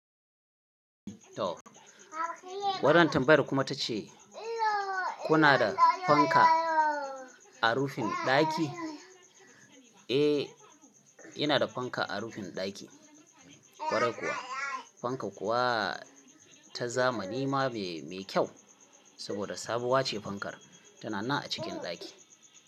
Wannan tambayer kuma ta ce kuna da fanka a rufin ɗaki? Eh, ina da fanka a rufin ɗaki. Kwarai kuwa, fanka kuwa ta zamani ma me kyau saboda sabuwa ce fankar tana nan a cikin ɗaki.